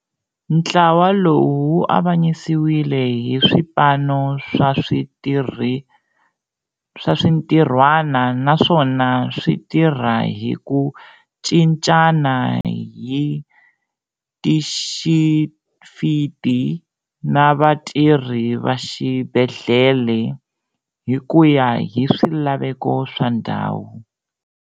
Ntlawa lowu wu avanyisiwile hi swipano swa swintirhwana naswona swi tirha hi ku cincana hi tixifiti na vatirhi va xibedhlele, hi ku ya hi swilaveko swa ndhawu.